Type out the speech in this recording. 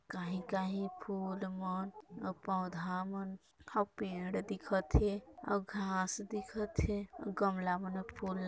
कहीं-कहीं फूल मन आउ पौधा मन आओ पेड़ दिखत हे आओ घास दिखत हे आओ गमला मन फूल लगे--